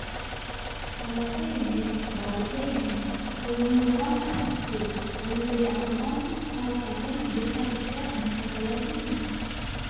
баласы емес балдызы емес ол неғылған әспеттеу аюдай ақырған сары қатын бір тарпыса несі қалар дейсің